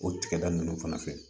O tiga da nunnu fana fɛ